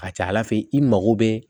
A ka ca ala fɛ i mago bɛ